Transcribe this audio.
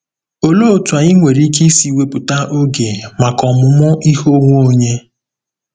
Olee otú anyị nwere ike isi wepụta oge maka ọmụmụ ihe onwe onye?